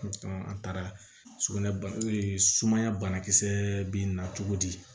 an taara sugunɛ sumaya banakisɛ bɛ na cogo di